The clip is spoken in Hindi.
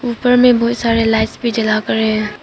ऊपर में बहुत सारे लाइट्स भी जला कर है।